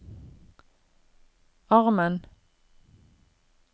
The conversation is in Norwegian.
armen